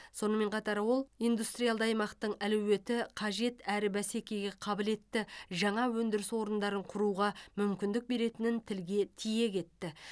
сонымен қатар ол индустриалды аймақтың әлеуеті қажет әрі бәсекеге қабілетті жаңа өндіріс орындарын құруға мүмкіндік беретінін тілге тиек етті